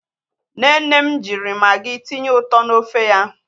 Nne nne m jiri Magị tinye ụtọ n'ofe ya.